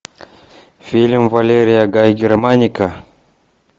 фильм валерия гай германика